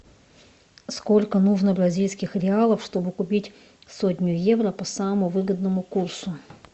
сколько нужно бразильских реалов чтобы купить сотню евро по самому выгодному курсу